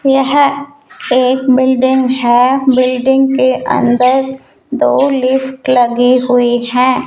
यह एक बिल्डिंग है बिल्डिंग के अंदर दो लिफ्ट लगी हुई हैं।